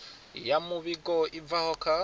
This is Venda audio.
ya muvhigo i bvaho kha